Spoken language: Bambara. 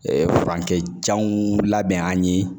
furancɛ janw labɛn an ye